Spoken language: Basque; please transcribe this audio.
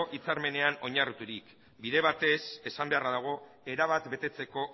hitzarmenean oinarriturik bide batez esan beharra dago erabat betetzeko